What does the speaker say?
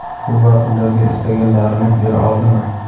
bu vaqt ularga istaganlarini bera oldimi?.